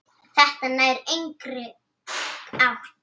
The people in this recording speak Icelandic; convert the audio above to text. Þetta nær engri átt.